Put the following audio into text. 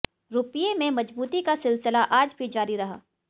रुपये में मजबूती का सिलसिला आज भी जारी रहा